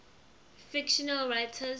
fictional writers